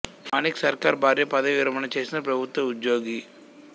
మాణిక్ సర్కార్ భార్య పదవీ విరమణ చేసిన ప్రభుత్వ ఉద్యోగి